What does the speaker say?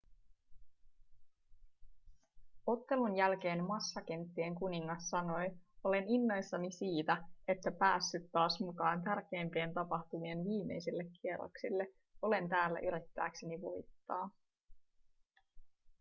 ottelun jälkeen massakenttien kuningas sanoi olen innoissani siitä että päässyt taas mukaan tärkeimpien tapahtumien viimeisille kierroksille olen täällä yrittääkseni voittaa